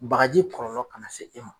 Bagaji kɔlɔlɔ kana se e ma.